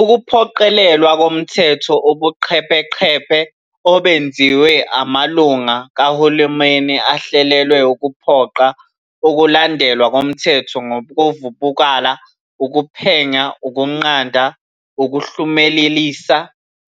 Ukuphoqelelwa komthetho ubuqhebeqhebe obenziwa amalungu kahulumeni ahlelelwe ukuphoqa ukulandelwa komthetho ngokuvubukula, ukuphenya, ukunqanda, Ukuhlumelelisa,